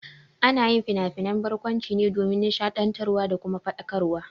Ana yin finafinan barkwanci ne domin nishaɗiantarwa da kuma ilmantarwa.